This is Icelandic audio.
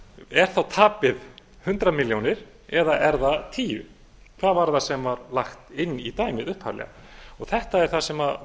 er þá tapið hundrað milljónir eða er það tíu hvað var það sem var lagt inn í dæmið upphaflega þetta er það sem